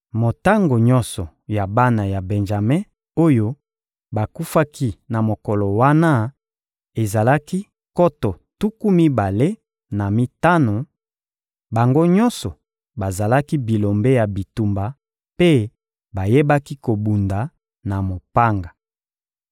Motango nyonso ya bana ya Benjame oyo bakufaki na mokolo wana ezalaki nkoto tuku mibale na mitano: bango nyonso bazalaki bilombe ya bitumba mpe bayebaki kobunda na mopanga.